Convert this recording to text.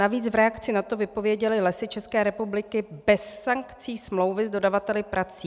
Navíc v reakci na to vypověděly Lesy České republiky bez sankcí smlouvy s dodavateli prací.